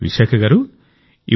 విశాఖ గారూ